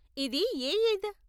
ఇది ఏ ఈద్?